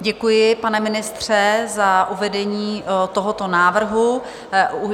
Děkuji, pane ministře, za uvedení tohoto návrhu.